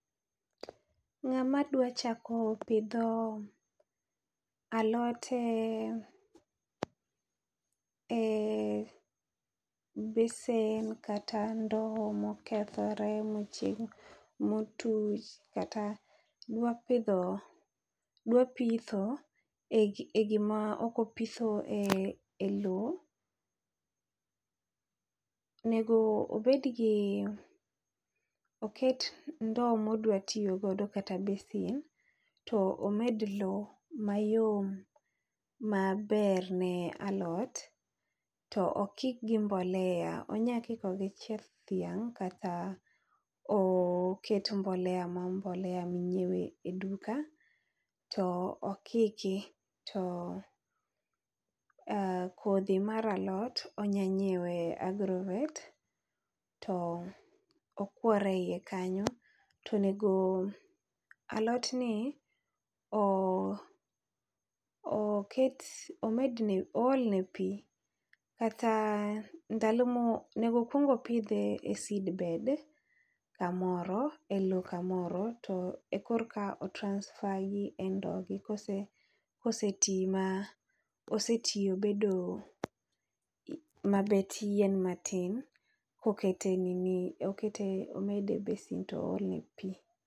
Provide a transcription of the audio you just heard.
Ngama dwa chako pidho alot e e besen kata ndoo ma okethore ma ma otuch kata dwa pidho dwa pitho e gi moro ok opitho e loo onego bed gi oket ndoo ma odwa tiyo godo kata besen to omed loo ma yom ma ber ne alot to okik gi mbolea onya kiko gi chieth dhiang kata oket mbolea ma mbolea ma inywe e duka to okiki. To kodhi mar alot onya nyiewe agrovet to okuore iye kanyo to onego alot ni, oket omed ne ool ne pi kata ndalo mo onego okuong opidhe e seedbed ka moro e loo ka moro to e kor ka otransfer gi e ndoo gi ka osetii ma osetii obedo ma bet yien matin ,ka oket okete omede besen to ool ne pi.